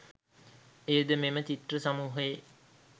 එයද මෙම චිත්‍ර සමූහයේ